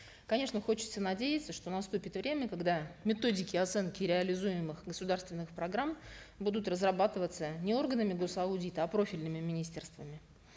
конечно хочется надеяться что наступит время когда методики оценки реализуемых государственных программ будут разрабатываться не органами гос аудита а профильными министерствами